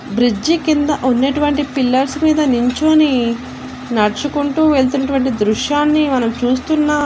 Bridge కింద ఉన్నటువంటి pillars మీద నించొని నడుచుకుంటూ వెళ్తునటువంటి దృశ్యాన్ని మనం చూస్తున్నాం.